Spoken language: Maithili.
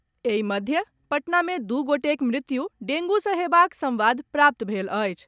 एहि मध्य, पटना मे दू गोटेक मृत्यु डेंगू सॅ हेबाक संवाद प्राप्त भेल अछि।